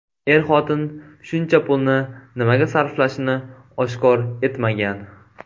Er-xotin shuncha pulni nimaga sarflashini oshkor etmagan.